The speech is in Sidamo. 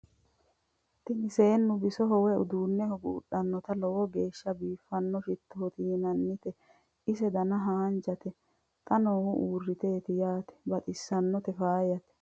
tini seennu bisoho woy uduunneho buudhanoti lowo geeshsha biifanoti shitote yinannite ise dana haanjate xa noou uurriteti yaate baxissannote faayate